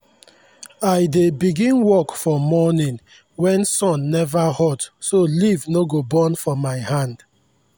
i dey begin work for morning when sun never hot so leaf no go burn for my hand.